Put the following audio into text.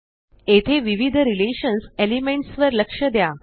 येथे विविध relations elements वर लक्ष द्या